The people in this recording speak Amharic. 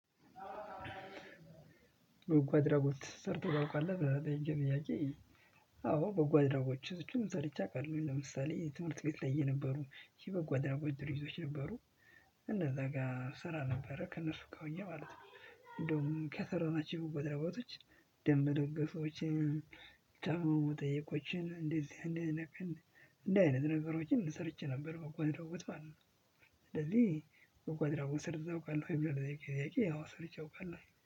በጎ አድራጎት ሰርተህ ታውቃለህ? አዎ በጎ አድራጎት እጩን ሰርቼ አውቃለሁ ለምሳሌ የትምህርት ቤት ላይ የነበሩ የበጎ አድራጎች ድርጊቶች ነበሩ እነዛ ጋር ስራ ነበረ ከእነሱ ጋር ሆኜ ማለት ነው። እንደውም ከሰራናችሁ በጎ አድራጎቶች ደም መለገሶችን የታመሙ መጠየቆችን እንደዚህ አይነት ነገሮችን ሰርቼ ነበር። በጎ አድራጎት ማለት ነው። ስለዚህ በጎ አድራጎት ሰርተህ ታውቃለህ ወይ ለሚለው ጥያቄ? አዎ ሰርቼ አውቃለሁ